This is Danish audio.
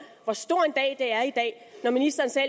hvor stor en dag det er i dag når ministeren selv